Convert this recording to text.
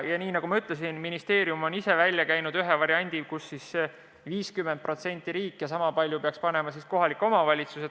Ja nagu ma ütlesin, ministeerium on ise välja käinud ühe variandi, mille kohaselt 50% tasuks riik ja sama palju peaks välja panema kohalik omavalitsus.